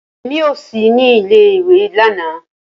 Rara, Emi ko si ni ìle-ìwe lana.